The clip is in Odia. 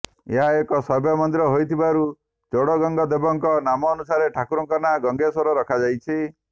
ଏହା ଏକ ଶୈବ ମନ୍ଦିର ହୋଇଥିବାରୁ ଚୋଡ଼ଗଙ୍ଗଦେବଙ୍କ ନାମାନୁସାରେ ଠାକୁରଙ୍କ ନାଁ ଗଙ୍ଗେଶ୍ୱର ରଖାଯାଇଛି